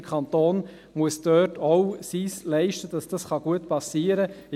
Der Kanton muss dort auch das Seine leisten, damit es gut geschehen kann.